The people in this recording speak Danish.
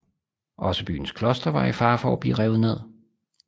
Også byens kloster var i fare for at blive revet ned